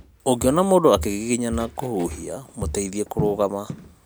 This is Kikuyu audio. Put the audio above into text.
ũngĩona mũndũ akĩgiginyana kũhuhia mũteithie kũrũgama